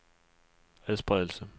adspredelse